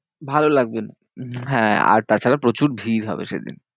ভালো লাগবে না, হ্যাঁ আর তাছাড়া প্রচুর ভিড় হবে সেদিন।